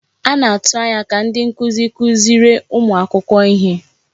A na-atụ anya ka ndị nkuzi kuziere ụmụ akwụkwọ ihe.